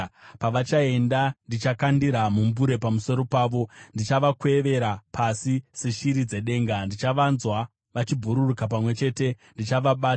Pavachaenda, ndichakandira mumbure pamusoro pavo; ndichavakwevera pasi seshiri dzedenga. Pandichavanzwa vachibhururuka pamwe chete, ndichavabata.